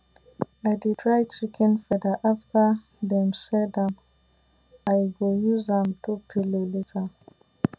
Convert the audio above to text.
i dey dry chicken feather after dem shed am i go use am do pillow later